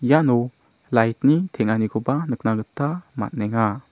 iano light-ni tanganikoba nikna gita man·enga.